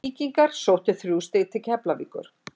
Víkingar sóttu þrjú stig til Keflavíkur.